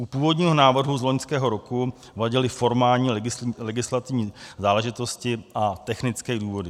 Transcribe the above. U původního návrhu z loňského roku vadily formální legislativní záležitosti a technické důvody.